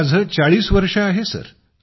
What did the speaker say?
वय 40वर्षे